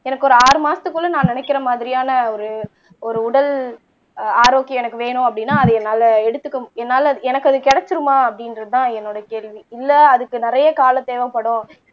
எனக்கு ஒரு ஆறு மாசத்துக்குள்ள நான் நினைக்கிற மாதிரியான ஒரு ஒரு உடல் ஆரோக்கியம் எனக்கு வேணும் அப்படீன்னா அது என்னால எடுத்துக்க என்னால எனக்கு அது கிடைச்சிருமா அப்படின்றதுதான் என்னோட கேள்வி இல்ல அதுக்கு நிறைய காலம் தேவைப்படும்